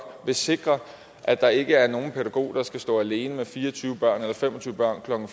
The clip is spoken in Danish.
vil sikre at der ikke er nogen pædagog der skal stå alene med fire og tyve børn eller fem og tyve børn klokken